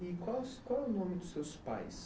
E qual qual o nome dos seus pais?